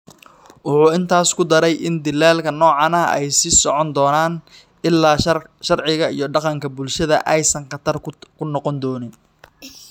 Wuxuu intaas ku daray in dilalka noocaan ah ay sii socon doonaan ilaa sharciga iyo dhaqanka bulshada aysan khatar ku noqon doonin.